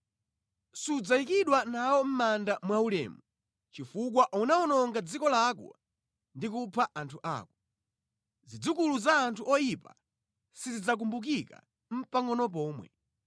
Sudzayikidwa nawo mʼmanda mwaulemu, chifukwa unawononga dziko lako ndi kupha anthu ako. Zidzukulu za anthu oyipa sizidzakumbukika nʼpangʼono pomwe.